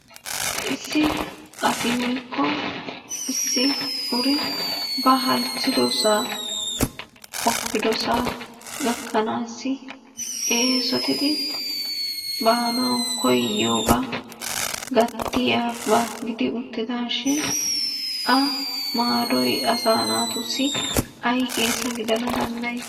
Issi asi woykko issi uri ba halchchidosaa qoppidosaa gakkanaassi eesotidi baanawu koyiyogaa gattiyabaa gidi uttidaashin A maadoy asaa naatussi ay keesa gidana danddayii?